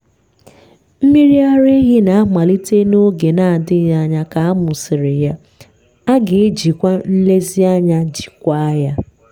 mmiri ara ehi na-amalite n'oge na-adịghị anya ka a mụsịrị ya a ga-ejikwa nlezianya jikwaa ya.